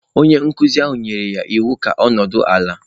Onye nkụzi ahụ nyere ya iwu ka ọ nọdụ ala.